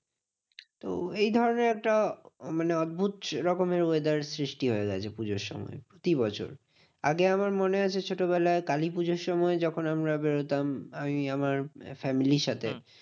তো এইধরণের একটা মানে অদ্ভুদ রকমের weather সৃষ্টি হয়ে গেছে পুজোর সময় প্রতি বছর। আগে আমার মনে আছে ছোটবেলায় কালী পুজোর সময় যখন আমরা বেরোতাম আমি আমার family র সাথে